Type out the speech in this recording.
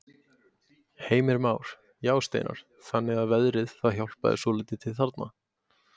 Heimir Már: Já, Steinar, þannig að veðrið það hjálpaði svolítið til þarna?